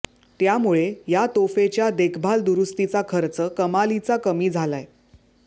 त्यामुळे या तोफेच्या देखभाल दुरूस्तीचा खर्च कमालीचा कमी झालाय